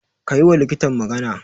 Ka yiwa likitan magana.